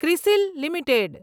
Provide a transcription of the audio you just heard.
CRISIL limited